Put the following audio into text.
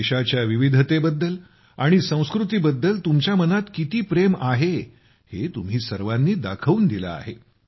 देशाच्या विविधतेबद्दल आणि संस्कृतीबद्दल तुमच्या मनात किती प्रेम आहे हे तुम्ही सर्वांनी दाखवून दिले आहे